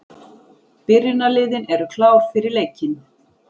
Byrjunarliðin eru klár fyrir leikinn.